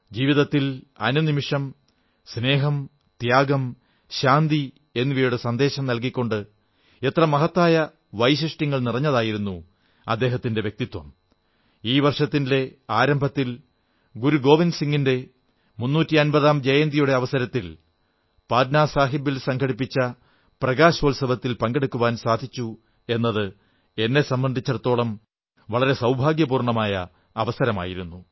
ജീവിതത്തിൽ അനുനിമിഷം സ്നേഹം ത്യാഗം ശാന്തി എന്നിവയുടെ സന്ദേശം നല്കിക്കൊണ്ട് എത്ര മഹത്തായ വൈശിഷ്ട്യങ്ങൾ നിറഞ്ഞതായിരുന്നു അദ്ദേഹത്തിന്റെ വ്യക്തിത്വം ഈ വർഷത്തിന്റെ ആരംഭത്തിൽ ഗുരു ഗോവിന്ദ് സിംഗിന്റെ മുന്നൂറ്റി അൻപതാം ജയന്തിയുടെ അവസരത്തിൽ പട്നാസാഹിബിൽ സംഘടിപ്പിച്ച പ്രകാശോത്സവത്തിൽ പങ്കെടുക്കാൻ സാധിച്ചു എന്നത് എന്നെ സംബന്ധിച്ചിടത്തോളം വളരെ സൌഭാഗ്യപൂർണ്ണമായ അവസരമായിരുന്നു